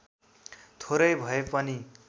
थोरै भए पनि